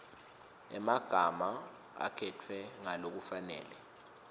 emagama akhetfwe ngalokufanele